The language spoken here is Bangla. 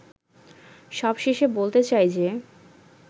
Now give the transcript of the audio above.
সবশেষে বলতে চাই যে